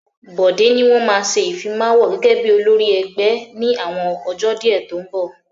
Bọ̀dé ni wọ́n ma ṣe Ìfimáwo gẹ́gẹ́ bí olórí ẹgbẹ́ ní àwọn ọjọ́ díẹ̀ tó ń bọ̀